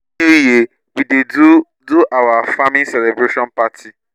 every year new we dey do do our farming celebration party